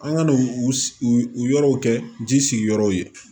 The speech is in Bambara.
An ka n'u u u yɔrɔw kɛ ji sigiyɔrɔ ye